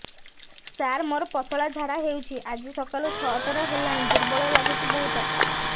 ସାର ମୋର ପତଳା ଝାଡା ହେଉଛି ଆଜି ସକାଳୁ ଛଅ ଥର ହେଲାଣି ଦୁର୍ବଳ ଲାଗୁଚି ବହୁତ